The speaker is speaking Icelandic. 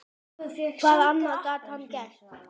Hvað annað gat hann gert?